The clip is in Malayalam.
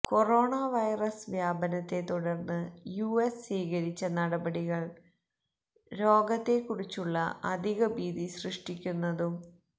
കൊറോണ വൈറസ് വ്യാപനത്തെ തുടർന്ന് യുഎസ് സ്വീകരിച്ച നടപടികൾ രോഗത്തെ കുറിച്ചുള്ള അധികഭീതി സൃഷ്ടിക്കുന്നതും വ്